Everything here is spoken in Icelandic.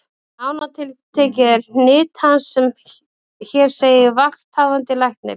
Nánar tiltekið eru hnit hans sem hér segir: Vakthafandi Læknir